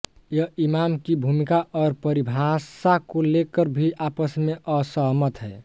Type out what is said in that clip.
यह इमाम की भूमिका और परिभाषा को लेकर भी आपस में असहमत हैं